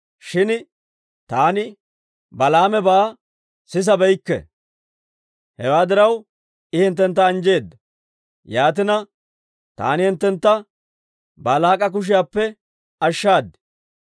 shin taani Balaamebaa sisabeykke. Hewaa diraw I hinttentta anjjeedda; Yaatina, taani hinttentta Baalaak'a kushiyaappe ashshaad.